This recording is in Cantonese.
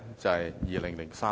就是在2003年。